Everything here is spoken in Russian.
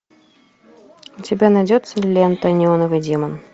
у тебя найдется лента неоновый демон